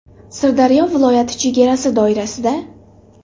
Sirdaryo viloyati chegarasi doirasida.